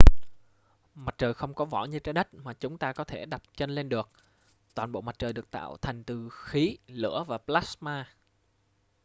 mặt trời không có vỏ như trái đất mà chúng ta có thể đặt chân lên được toàn bộ mặt trời được tạo thành từ khí lửa và plasma